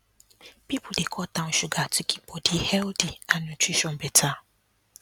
people dey cut down sugar to keep body healthy and nutrition better